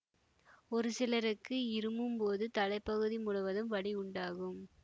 ஒரு சிலருக்கு இருமும் போது தலைப்பகுதி முழுவதும் வலி உண்டாகும்